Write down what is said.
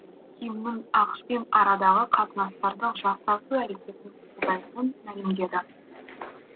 кимнің ақш пен арадағы қатынастарды жақсарту әрекетін қолдайтынын мәлімдеді